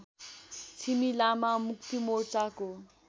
Chhimi Lama मुक्तिमोर्चाको